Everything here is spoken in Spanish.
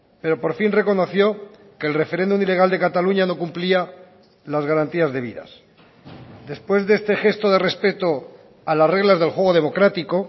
pero por fin reconoció que el referéndum ilegal de cataluña no cumplía las garantías debidas después de este gesto de respeto a las reglas del juego democrático